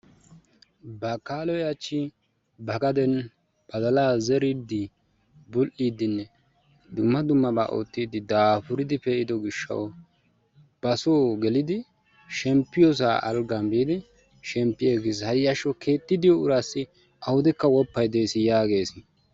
Bakkaaloyi hachchi ba gaden badalaa zeriiddi, bull"iiddinne dumma dummabaa oottidi daafuridi pe"ido gishshawu basoo gelidi shemppiyosaa alggan biidi shemppi aggis hayyashsho keetti diyo uraassi awudekka woppayi des yaages.